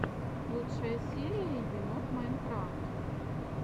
лучшая серия енот майнкрафт